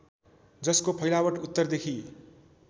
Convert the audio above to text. जसको फैलावट उत्तरदेखि